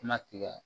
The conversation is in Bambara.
Kuma tigɛ